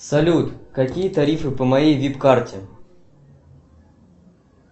салют какие тарифы по моей вип карте